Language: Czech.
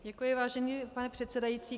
Děkuji, vážený pane předsedající.